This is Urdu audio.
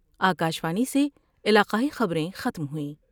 آ کا شوانی سے علاقائی خبر میں ختم ہوئیں